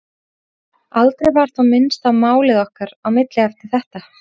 Aldrei var þó minnst á málið okkar á milli eftir þetta.